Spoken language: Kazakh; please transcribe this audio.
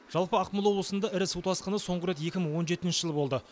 жалпы ақмола облысында ірі су тасқыны соңғы рет екі мың он жетінші жылы болды